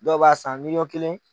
Dɔw b'a san n'i ko kelen.